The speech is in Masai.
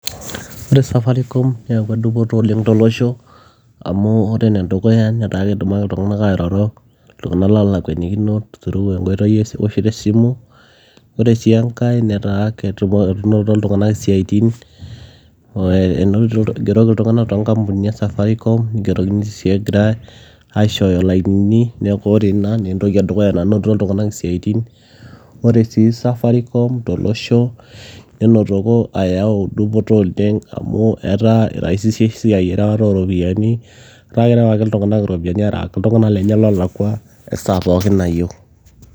Ore safaricom neyawua dupoto oleng tolosho amu ore enedukuya netaa ketumoki iltung'anak airoro iltung'anak loolakwanikino through enkoitoi ewoshoto esimu ore sii enkae netaa enotito iltung'anak isiaitin eh, enotito igeroki iltung'anak toonkampunini e safaricom nigeroki sii egirae aishooyo ilainini neeku ore ina naa entoki edukuya nanotito iltung'anak isiaitin ore sii safaricom tolosho nenotoko ayau dupoto oleng amu etaa iraisisha esiai erewata oropiyiani etaa kerew ake iltung'anak iropiyiani arewaki iltung'anak lenye loolakua esaa pookin nayieu.